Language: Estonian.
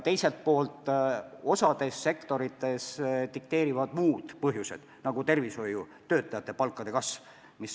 Osas sektorites aga dikteerivad palgatõusu muud põhjused, näiteks võib tuua tervishoiutöötajate palga kasvu.